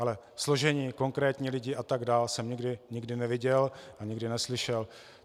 Ale složení, konkrétní lidi atd. jsem nikdy neviděl a nikdy neslyšel.